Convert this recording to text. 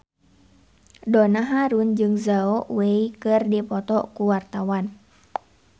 Donna Harun jeung Zhao Wei keur dipoto ku wartawan